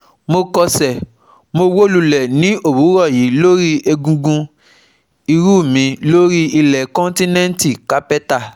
mo kọsẹ̀ Mo wó lulẹ̀ ní òwúrọ̀ yí lórí egungun ìrù mi lórí ilẹ̀ kọ́ńtínẹ́ǹtì kápẹ́tà